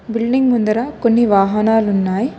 Building ముందర కొన్ని వాహనాలు ఉన్నాయి.